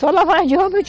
Só lavagem de roupa eu